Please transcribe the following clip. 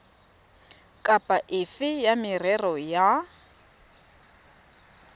kapa efe ya merero ya